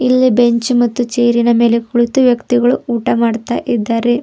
ಇಲ್ಲಿ ಬೆಂಚ್ ಮತ್ತು ಚೇರ್ ಇನ ಮೇಲೆ ಕುಳಿತು ವ್ಯಕ್ತಿಗಳು ಊಟ ಮಾಡ್ತಾ ಇದ್ದಾರೆ.